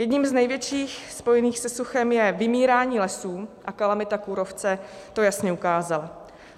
Jedním z největších spojených se suchem je vymírání lesů, a kalamita kůrovce to jasně ukázala.